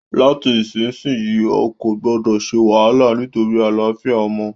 Láti ìsinsìyí, o kò gbọdọ̀ se wàhálà nítorí àlàáfíà ọmọ